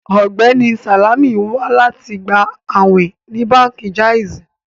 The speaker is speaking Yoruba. Ọgbẹni Salamì n wà láti gbà àwìn ní Bánkì Jàìzì.